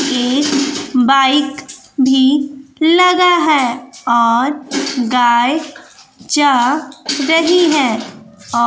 एक बाइक भी लगा है और गाय जा रही है औ--